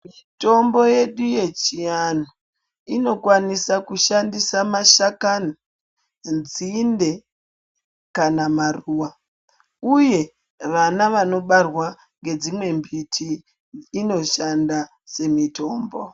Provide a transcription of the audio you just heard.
Mitombo yedu yechiantu inokwanisa kushandisa mashakani nzinde kana maruwa uye vana vanobarwa nedzimwe mbiti inoshanda semitombo .